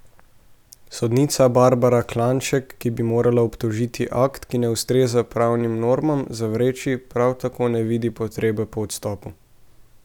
Sodnica Barbara Klajnšek, ki bi morala obtožni akt, ki ne ustreza pravnim normam, zavreči, prav tako ne vidi potrebe po odstopu.